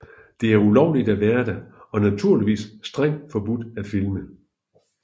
Det er ulovligt at være der og naturligvis strengt forbudt at filme